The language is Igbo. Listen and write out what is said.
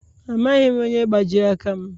Amaghị m onye gbajiri aka m.